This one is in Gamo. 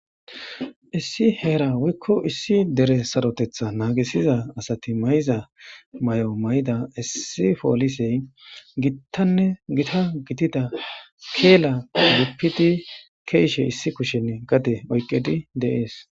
Issi heran woyko Dere saroteththanaangisiza nagisiza asati mayiza mayoy issi poolisey gita keela kezishe dees.keishe issi kishen gade oykidi de'es